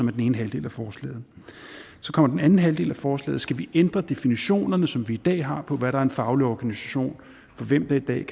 er den ene halvdel af forslaget så kommer den anden halvdel af forslaget skal vi ændre definitionerne som vi i dag har på hvad der er en faglig organisation og for hvem der i dag